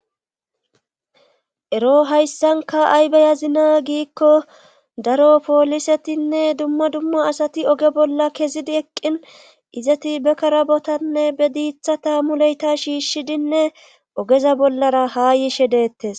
Ero hayssanka aybayazina giikko daro poolisetinne dumma dumma asati oge bolla kezidi eqqin izati be karabotanne be diitha taammuleyta shiishshidinne ogeza bollara haa yishe deettes.